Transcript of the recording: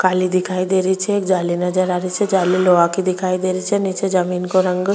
काली दिखाई दे रही छे एक जाली नज़र आ री छे जाली लोहा की दिखाई दे रही छे नीचे जमीन को रंग --